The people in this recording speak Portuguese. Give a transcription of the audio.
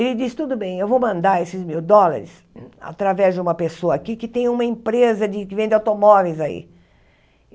Ele disse, tudo bem, eu vou mandar esses mil dólares através de uma pessoa aqui que tem uma empresa de que vende automóveis aí.